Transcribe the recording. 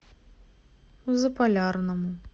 заполярному